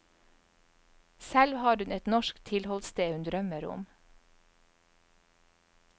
Selv har hun et norsk tilholdssted hun drømmer om.